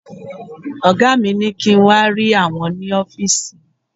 Ọ̀gá mi ní kí n wà rí àwọn ni ọ́fìsì